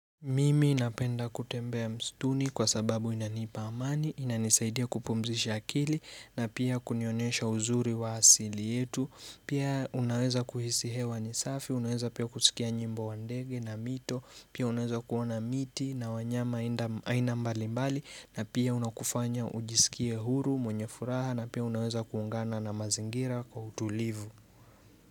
Mimi inapenda kutembea mstuni kwa sababu inanipa amani, inanisaidia kupumzisha kili na pia kunionesha uzuri wa asili yetu. Pia unaweza kuhisihewa nisafi, unaweza pia kusikia nyimbo wandege na mito, pia unaweza kuona miti na wanyama ina mbali mbali na pia una kufanya ujisikie huru, mwenye furaha na pia unaweza kuungana na mazingira kwa utulivu.